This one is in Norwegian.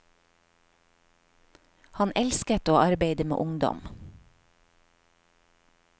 Han elsket å arbeide med ungdom.